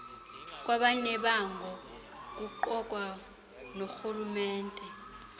kwabanebango kuqukwa norhulumente